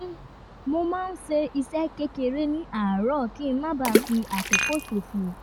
mo máa ń ṣe iṣẹ́ kékeré ní àárọ̀ kí n má bà a fi àkókò ṣòfò